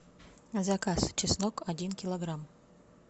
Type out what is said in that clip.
заказ чеснок один килограмм